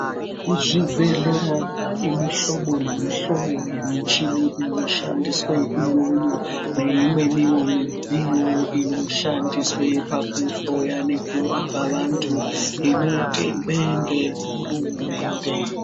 Kuzvibhedhlera panemihlobo nemihlobo yemichini inoshandiswe iyoyo, neyimwe iyo midziyo inoshandiswe pakuhloya nekurapa vantu inotengwe ngehurumende.